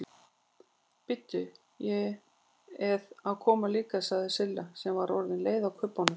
Bíddu, ég eð að koma líka sagði Silla sem var orðin leið á kubbunum.